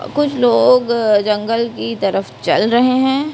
कुछ लोग जंगल की तरफ चल रहे हैं।